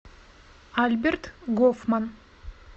альберт гофман